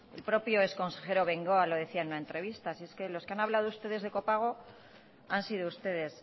el propio exconsejero bengoa lo decía en una entrevista si es que los que han hablado ustedes de copago han sido ustedes